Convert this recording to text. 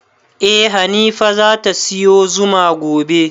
Eh hanifa zata siyo zuma gobe